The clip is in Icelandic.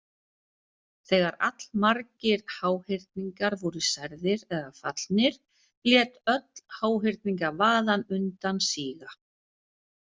Þegar allmargir háhyrningar voru særðir eða fallnir lét öll háhyrningavaðan undan síga.